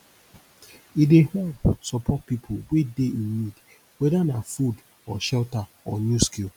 e dey help support pipo wey dey in need whether na food or shelter or new skill